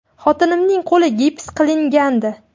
Xotinimning qo‘li gips qilingandi.